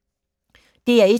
DR1